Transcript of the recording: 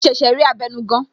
Mo ṣẹ̀ṣẹ̀ rí abenugan